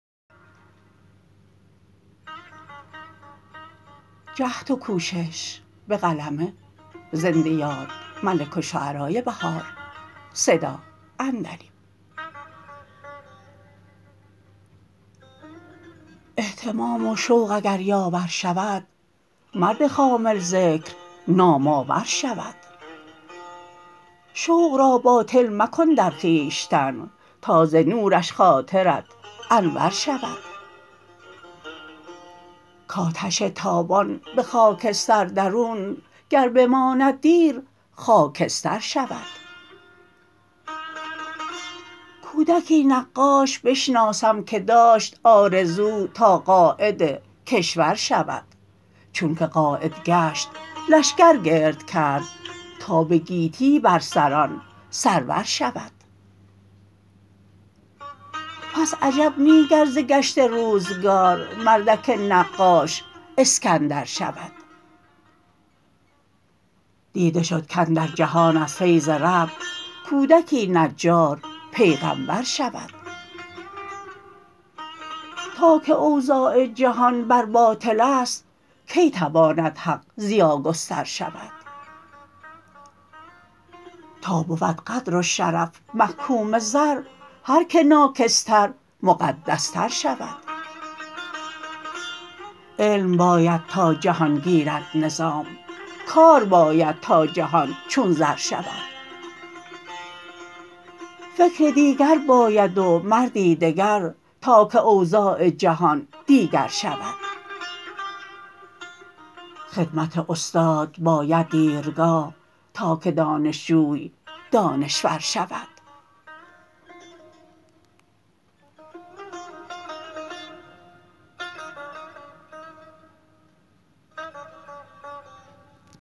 اهتمام و شوق اگر یاور شود مرد خامل ذکر نام آور شود شوق را باطل مکن در خویشتن تا ز نورش خاطرت انور شود کاتش تابان به خاکستر درون گر بماند دیر خاکستر شود کودکی نقاش بشناسم که داشت آرزو تا قاید کشور شود چون که قاید گشت لشگر گرد کرد تا به گیتی بر سران سرور شود پس عجب نی گرز گشت روزگار مردک نقاش اسکندر شود دیده شدکاندر جهان از فیض رب کودکی نجارپیغمبر شود تاکه اوضاع جهان بر باطل است کی تواند حق ضیاگستر شود تا بود قدر و شرف محکوم زر هرکه ناکس تر مقدس تر شود علم باید تا جهان گیرد نظام کار باید تا جهان چون زر شود فکر دیگر باید و مردی دگر تاکه اوضاع جهان دیگر شود خدمت استاد باید دیرگاه تاکه دانشجوی دانشور شود